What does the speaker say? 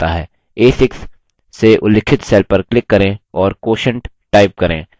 a6 से उल्लिखित cell पर click करें और quotient type करें